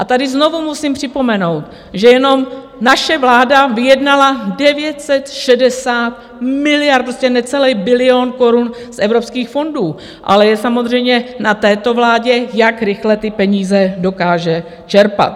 A tady znovu musím připomenout, že jenom naše vláda vyjednala 960 miliard, prostě necelý bilion korun, z evropských fondů, ale je samozřejmě na této vládě, jak rychle ty peníze dokáže čerpat.